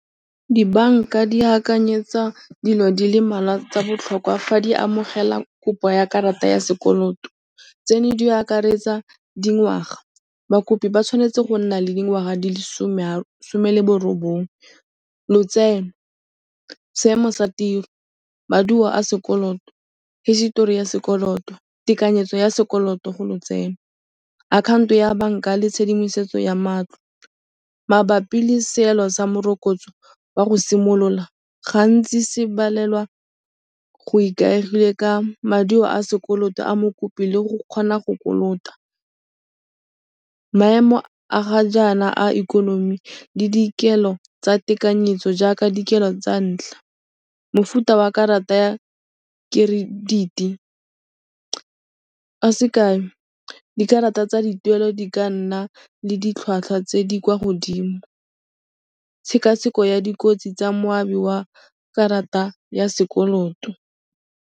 Dibanka di akanyetsa dilo di le mmalwa tsa botlhokwa fa di amogela kopo ya karata ya sekoloto. Tseno di akaretsa dingwaga. Bakopi ba tshwanetse go nna le dingwaga di le some le borobongwe, lotseno, seemo sa tiro, maduo a sekoloto, hisitori ya sekoloto, tekanyetso ya sekoloto go lotseno, akhaonto ya banka le tshedimosetso ya matlo. Mabapi le seelo sa morokotso wa go simolola, gantsi se balelwa go ikaegile ka maduo a sekoloto a mokopi le go kgona go kolota. Maemo a ga jaana a ikonomi le dikelo tsa tekanyetso jaaka dikelo tsa ntlha, mofuta wa karata ya credit-i. Ka sekai, dikarata tsa dituelo di ka nna le ditlhwatlhwa tse di kwa godimo, tshekatsheko ya dikotsi tsa moabi wa karata ya sekoloto.